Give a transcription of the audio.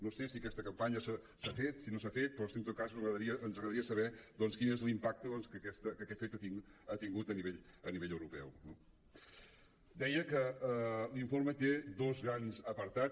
no sé si aquesta campanya s’ha fet si no s’ha fet però en tot cas ens agradaria saber quin és l’impacte que aquest fet ha tingut a nivell europeu no deia que l’informe té dos grans apartats